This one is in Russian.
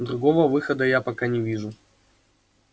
другого выхода я пока не вижу